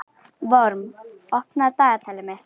Vorm, opnaðu dagatalið mitt.